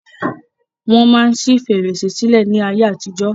Wọ́n máa ń ṣi fèrèsé sílẹ̀ ni ayé àtijọ́.